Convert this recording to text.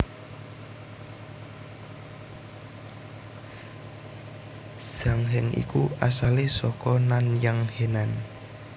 Zhang Heng iku asalé saka Nanyang Henan